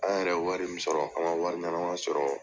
An yɛrɛ wari min sɔrɔ an man wari ɲanama sɔrɔ.